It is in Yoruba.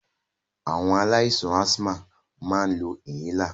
Awon alaisan asthma ma n lo inhaler.